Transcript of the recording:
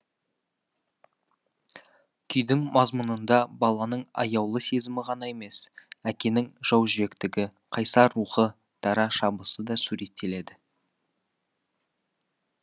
күйдің мазмұнында баланың аяулы сезімі ғана емес әкенің жаужүректігі қайсар рухы дара шабысы да суреттеледі